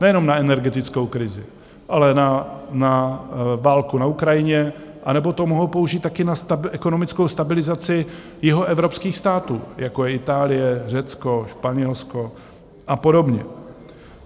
Nejenom na energetickou krizi, ale na válku na Ukrajině anebo to mohou použít také na ekonomickou stabilizaci jihoevropských států, jako je Itálie, Řecko, Španělsko a podobně.